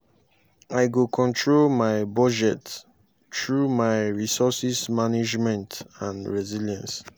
i go control my budget through my resources management and resilience.